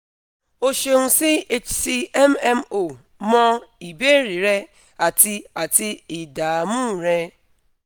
o ṣeun si hcmmo mọ ìbéèrè rẹ àti àti ìdààmú rẹ